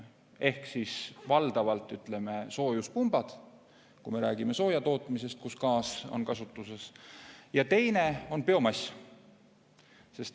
Ehk siis valdavalt soojuspumbad, kui me räägime soojatootmisest, kus gaas on kasutuses, ja teine on biomass.